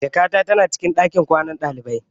Jakata ta na cikin ɗakin kwanan ɗalibai.